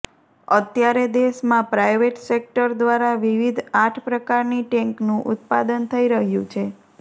અત્યારે દેશમાં private sector દ્વારા વિવિધ આઠ પ્રકારની ટેન્કનું ઉત્પાદન થઈ રહ્યું છે